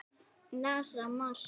NASA- Mars.